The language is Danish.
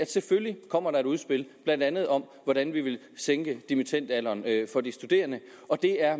selvfølgelig kommer et udspil blandt andet om hvordan vi vil sænke dimittendalderen for de studerende og det er